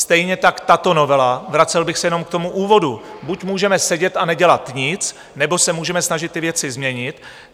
Stejně tak tato novela - vracel bych se jenom k tomu úvodu - buď můžeme sedět a nedělat nic, nebo se můžeme snažit ty věci změnit.